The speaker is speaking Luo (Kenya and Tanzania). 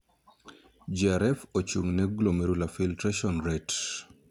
'GFR' ochung' ne 'glomerular filtration rate'